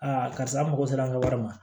karisa n mago sera an ka wari ma